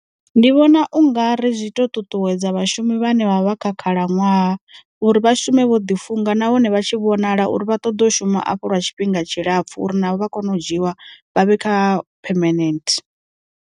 Ndi vhona u nga ri zwi to ṱuṱuwedza vhashumi vhane vha vha khakhela ṅwaha, uri vha shume vho ḓi funga na hone vha tshi vhonala uri vha ṱoḓa u shuma afho lwa tshifhinga tshilapfu uri navho vha kone u dzhiwa vha vhe kha permanent.